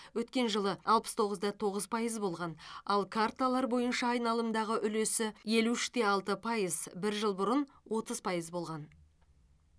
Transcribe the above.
өткен жылы алпыс тоғыз да тоғыз пайыз болған ал карталар бойынша айналымдағы үлесі елу үш те алты пайыз бір жыл бұрын отыз пайыз болған